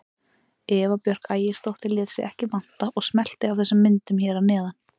Eva Björk Ægisdóttir lét sig ekki vanta og smellti af þessum myndum hér að neðan.